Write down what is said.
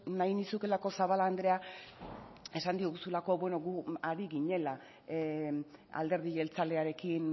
nahi nizulako zabala andrea esan diguzulako beno gu ari ginela alderdi jeltzalearekin